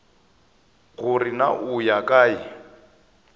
gore na o ya kae